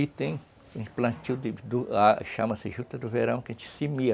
E tem o plantio, chama-se juta do verão, que a gente semeia.